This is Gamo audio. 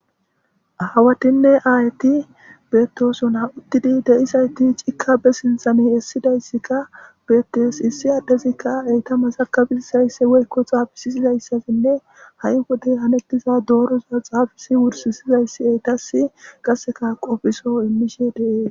Hawatinne aayti beettosona uttidi deisayti cikabe sinthane essidayssikka beettes issi aaddezikka eyta masakabissaysse woykko xaafisisizayssafinne ha'i wode hanetiza dooroza xaafisi wursisizayssi eytas qasseka qofiso immishe dee.